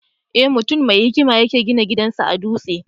Eh, mutum mai hikima ya ke gina gidan sa a dutse.